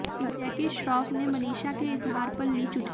जैकी श्रॉफ ने मनीषा के इजहार पर ली चुटकी